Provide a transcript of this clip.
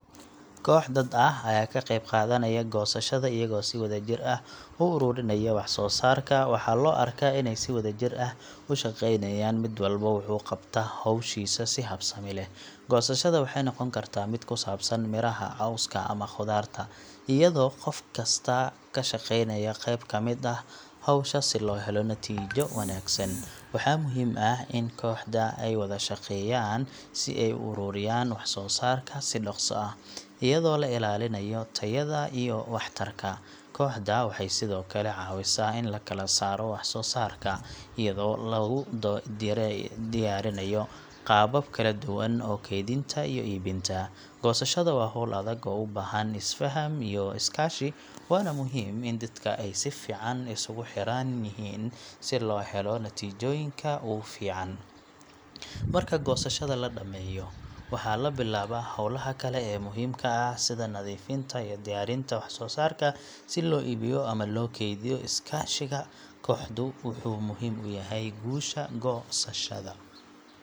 Koox dad ah ayaa ka qaybqaadanaya goosashada, iyagoo si wadajir ah u ururinaya wax soo saarka. Waxaa la arkaa inay si wadajir ah u shaqeynayaan, mid walba wuxuu qabtaa hawshiisa si habsami leh. Goosashada waxay noqon kartaa mid ku saabsan miraha, cawska ama khudaarta, iyadoo qof kastaa ka shaqeynayo qayb ka mid ah hawsha si loo helo natiijo wanaagsan. Waxaa muhiim ah in kooxda ay wada shaqeeyaan si ay u ururiyaan wax soo saarka si dhaqso ah, iyadoo la ilaalinayo tayada iyo waxtarka. Kooxda waxay sidoo kale caawisaa in la kala saaro wax soo saarka, iyadoo lagu diyaarinayo qaabab kala duwan oo kaydinta iyo iibinta. Goosashada waa hawl adag oo u baahan isfaham iyo iskaashi, waana muhiim in dadka ay si fiican isugu xiran yihiin si loo helo natiijooyinka ugu fiican. Marka goosashada la dhameeyo, waxaa la bilaabaa hawlaha kale ee muhiimka ah sida nadiifinta iyo diyaarinta wax soo saarka si loo iibiyo ama loo kaydiyo. Iskaashiga kooxdu wuxuu muhiim u yahay guusha goosashada.